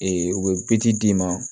u bɛ d'i ma